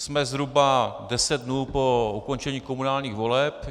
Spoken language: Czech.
Jsme zhruba deset dnů po ukončení komunálních voleb.